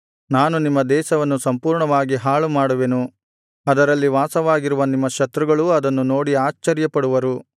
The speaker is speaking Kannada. ನಾನು ನಿಮ್ಮ ದೇಶವನ್ನು ಸಂಪೂರ್ಣವಾಗಿ ಹಾಳುಮಾಡುವೆನು ಅದರಲ್ಲಿ ವಾಸವಾಗಿರುವ ನಿಮ್ಮ ಶತ್ರುಗಳೂ ಅದನ್ನು ನೋಡಿ ಆಶ್ಚರ್ಯಪಡುವರು